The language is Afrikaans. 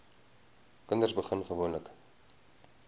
kinders begin gewoonlik